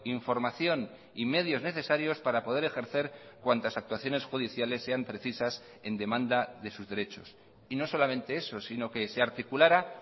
información y medios necesarios para poder ejercer cuantas actuaciones judiciales sean precisas en demanda de sus derechos y no solamente eso sino que se articulara